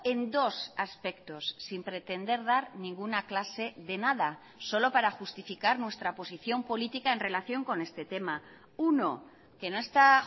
en dos aspectos sin pretender dar ninguna clase de nada solo para justificar nuestra posición política en relación con este tema uno que no está